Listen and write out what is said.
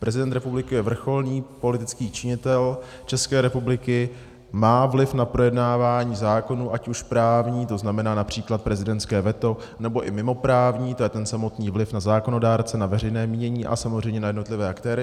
Prezident republiky je vrcholný politický činitel České republiky, má vliv na projednávání zákonů, ať už právní, to znamená například prezidentské veto, nebo i mimoprávní, to je ten samotný vliv na zákonodárce, na veřejné mínění a samozřejmě na jednotlivé aktéry.